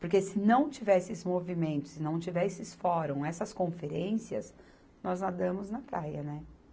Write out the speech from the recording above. Porque se não tiver esses movimentos, se não tiver esses fórum, essas conferências, nós nadamos na praia, né?